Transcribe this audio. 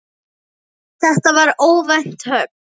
Þetta var óvænt högg.